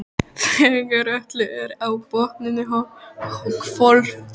Þegar öllu er á botninn hvolft.